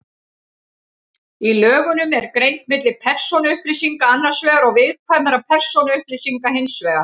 Í lögunum er greint milli persónuupplýsinga annars vegar og viðkvæmra persónuupplýsinga hins vegar.